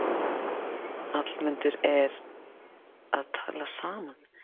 Hallmundur eru að tala saman.